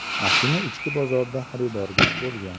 Mashina ichki bozorda xaridorgir bo‘lgan.